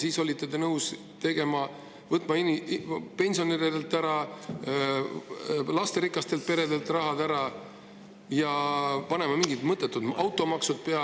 Te olite nõus võtma pensionäridelt raha ära, lasterikastelt peredelt raha ära ja panema mingi mõttetu automaksu peale …